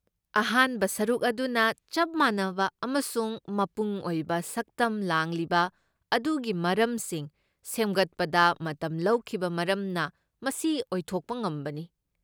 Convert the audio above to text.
ꯑꯍꯥꯟꯕ ꯁꯔꯨꯛ ꯑꯗꯨꯅ ꯆꯞ ꯃꯥꯟꯅꯕ ꯑꯃꯁꯨꯡ ꯃꯄꯨꯡ ꯑꯣꯏꯕ ꯁꯛꯇꯝ ꯂꯥꯡꯂꯤꯕ ꯑꯗꯨꯒꯤ ꯃꯔꯝꯁꯤꯡ ꯁꯦꯝꯒꯠꯄꯗ ꯃꯇꯝ ꯂꯧꯈꯤꯕ ꯃꯔꯝꯅ ꯃꯁꯤ ꯑꯣꯏꯊꯣꯛꯄ ꯉꯝꯕꯅꯤ꯫